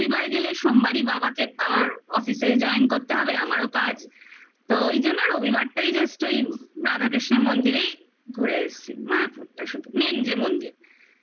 রবিবার গেলে সোমবারই বাবাকে আবার Office join করতে হবে আমারও কাজ তো ওই জন্য রবিবারটাই just ওই রাধাকৃষ্ণের মন্দিরেই ঘুরে এসছি মায়াপুরটা শুধু main যে মন্দির